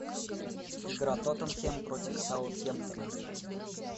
игра тоттенхэм против саутгемптона